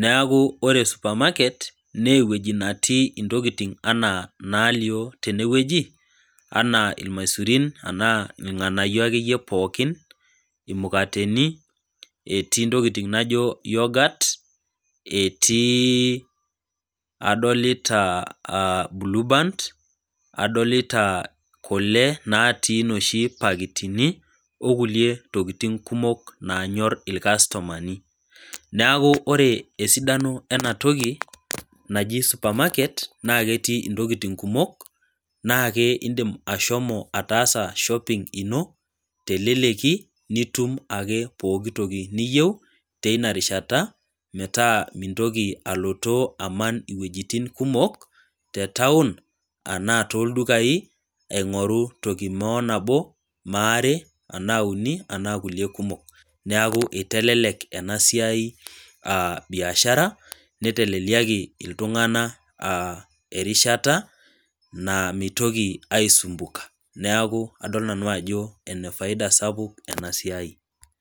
Neaku ore suparmarket, naa ewueji natii intokitin anaa inalio tenewueji, anaa ilmaisurin anaa ilg'anayio ake iyie pookin, imukateni, etii intokitin naijo yorghurt, etii, adolita bulubant, adolita kule natii inooshi pakitini, o kulie tokitin kumok naanyor ilkastomani. Neaku ore esidano ena toki naji supermaket, naa ketii intokitin kumok, naake indim ashomo ataasa shopping ino, te eleleki, nitum ake pooki toki niyou, teina rishata, metaa mintoki alotoo iman iwuetin kumok, te taun, anaa tooldukai, aing'oru duo toki nabo, mo are anaa uni, anaa kulie kumok, neaku eitelelek ena siai biashara neiteleliaki iltung'ana rrishata naa meitoki aisumbuka, neaku adol nanu ajo enefaida sapuk ena siai.